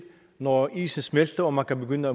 når isen smelter og man kan begynde